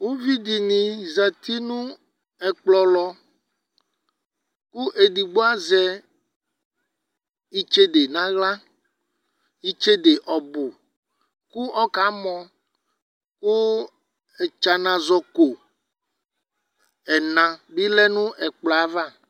uvi di ni zati no ɛkplɔ lɔ kò edigbo azɛ itsede n'ala itsede ɔbu kò ɔka mɔ kò etsana zɔ ko ɛna bi lɛ no ɛkplɔ yɛ ava